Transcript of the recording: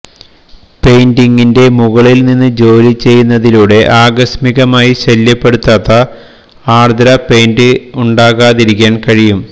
പെയിന്റിംഗിന്റെ മുകളിൽ നിന്ന് ജോലി ചെയ്യുന്നതിലൂടെ ആകസ്മികമായി ശല്യപ്പെടുത്താത്ത ആർദ്ര പെയിന്റ് ഉണ്ടാകാതിരിക്കാൻ കഴിയും